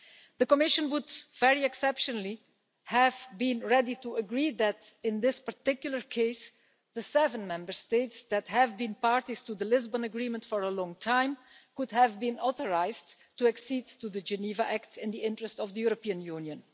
The Commission would, very exceptionally, have been ready to agree that in this particular case, the seven Member States that have been parties to the Lisbon Agreement for a long time could have been authorised to accede to the Geneva Act in the interest of the European Union.